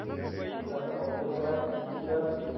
ਠੀਕ ਏ ok sir thank you sir ਤੁਸੀਂ